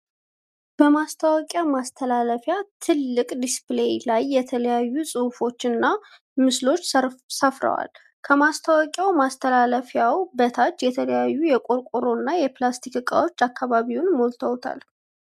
በማስታወቂያ ማስተላለፊያ ትልቅ ዲስፕሌይ ላይ የተለያዩ ጽሁፎች እና ምስሎች ሰፍረዋል። ከማስታወቂያ ማስተላለፊያው በታችም የተለያዩ የቆርቆሮ እና የፕላስቲክ እቃዎች አካባቢውን ሞልተዉታል።